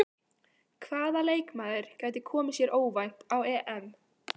Hvaða leikmaður gæti komið sér óvænt á EM?